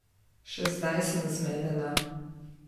Še zdaj sem zmedena.